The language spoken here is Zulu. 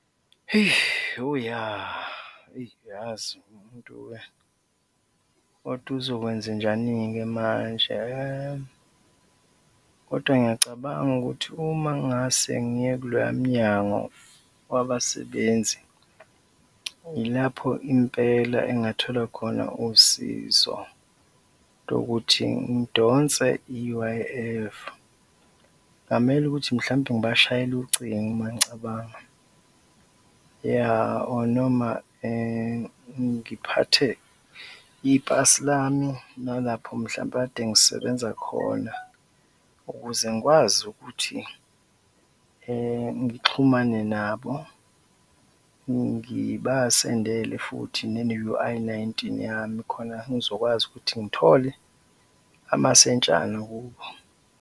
Hheyi! Oh, ya, eyi, yazi, umuntu-ke, kodwa uzokwenzenjani-ke manje? Hha, kodwa ngiyacabanga ukuthi uma ngase ngiye kuloya Mnyango Wabasebenzi, yilapho impela engingathola khona usizo lokuthi ngidonse i-U_I_F. Kwamele ukuthi mhlawumbe ngibashayele ucingo mangicabanga, yah, or noma ngiphathe ipasi lami nalapho mhlawumbe kade ngisebenza khona ukuze ngikwazi ukuthi ngixhumane nabo, ngibasendele futhi ne-U_I nineteen yami khona ngizokwazi ukuthi ngithole amasentshana kubo.